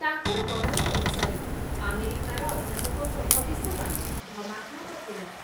ତାଙ୍କର ଗଣନା ଅନୁସାରେ ଆମେରିକାର ଅଧ୍ୟାପକଙ୍କ ଭବିଷ୍ୟବାଣୀ ଭ୍ରମାତ୍ମକ ଥିଲା ।